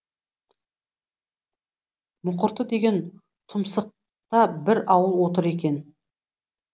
мұқырты деген тұмсықта бір ауыл отыр екен